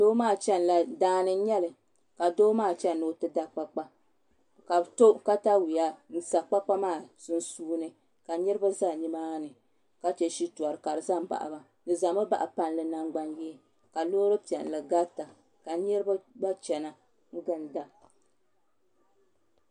Daani n nyɛli ka doo maa chɛni ni o ti da kpakpa ka bi to katawiya n sa kpakpa maa sunsuuni ka niraba ʒɛ nimaani ka chɛ shitori ka di ʒɛ n baɣaba di ʒɛmi baɣa palli nangbani yee ka loori piɛlli garita ka niraba gba chɛna n ginda